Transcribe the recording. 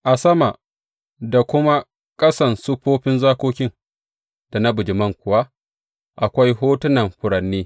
A sama da kuma ƙasan siffofin zakokin da na bijiman kuwa akwai hotunan furanni.